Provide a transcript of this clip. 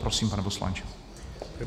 Prosím, pane poslanče.